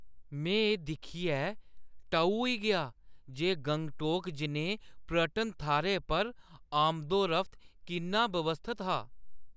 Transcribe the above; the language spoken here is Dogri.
में एह् दिक्खियै टऊ होई गेआ जे गंगटोक जनेहे पर्यटन थाह्‌रै पर आमदोरफ्त किन्ना व्यवस्थत हा।